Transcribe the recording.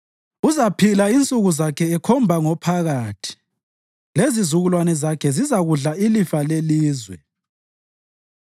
Uzaphila insuku zakhe ekhomba ngophakathi, lezizukulwane zakhe zizakudla ilifa lelizwe.